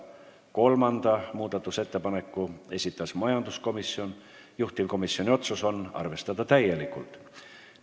Kolmanda muudatusettepaneku esitas majanduskomisjon, juhtivkomisjoni otsus: arvestada täielikult.